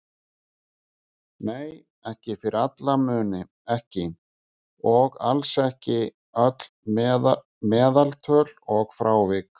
Nei, fyrir alla muni ekki, og alls ekki öll meðaltöl og frávik.